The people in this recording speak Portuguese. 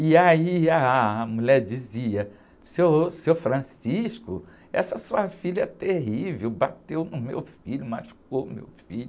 E aí ah, a mulher dizia, seu, seu, essa sua filha é terrível, bateu no meu filho, machucou o meu filho.